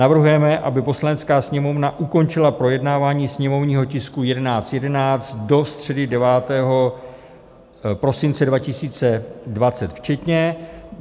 Navrhujeme, aby Poslanecká sněmovna ukončila projednání sněmovního tisku 1111 do středy 9. prosince 2020 včetně.